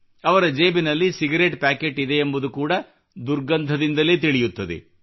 ಅವರ ಜೇಬಿನಲ್ಲಿ cigarette packet ಇದೆಯೆಂಬುದು ಕೂಡಾ ದುರ್ಗಂಧದಿಂದಲೇ ತಿಳಿಯುತ್ತದೆ